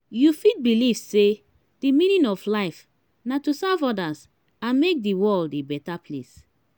you fit believe say di meaning of life na to serve others and make di world a beta place.